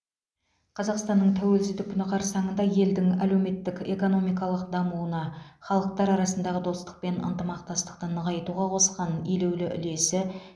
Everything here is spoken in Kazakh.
қазақстанның тәуелсіздік күні қарсаңында елдің әлеуметтік экономикалық дамуына халықтар арасындағы достық пен ынтымақтастықты нығайтуға қосқан елеулі үлесі